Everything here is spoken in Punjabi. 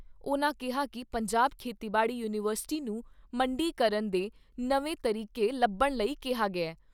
ਉਨ੍ਹਾਂ ਕਿਹਾ ਕਿ ਪੰਜਾਬ ਖੇਤੀਬਾੜੀ ਯੂਨੀਵਰਸਿਟੀ ਨੂੰ ਮੰਡੀਕਰਨ ਦੇ ਨਵੇਂ ਤਰੀਕੇ ਲੱਭਣ ਲਈ ਕਿਹਾ ਗਿਆ ।